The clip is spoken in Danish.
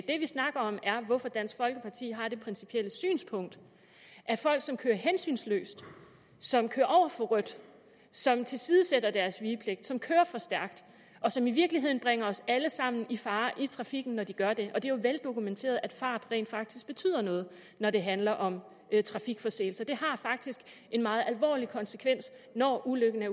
det vi snakker om er hvorfor dansk folkeparti har det principielle synspunkt at folk som kører hensynsløst som kører over for rødt som tilsidesætter deres vigepligt som kører for stærkt og som i virkeligheden bringer os alle sammen i fare i trafikken når de gør det og det er jo veldokumenteret at fart rent faktisk betyder noget når det handler om trafikforseelser det har faktisk en meget alvorlig konsekvens når uheldet